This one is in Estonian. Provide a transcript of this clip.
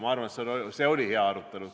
Ma arvan, et see oli hea arutelu.